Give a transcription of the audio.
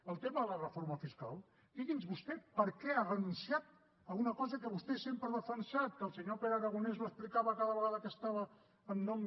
el tema de la reforma fiscal digui’ns vostè per què ha renunciat a una cosa que vostè sempre ha defensat que el senyor pere aragonès ho explicava cada vegada que estava en nom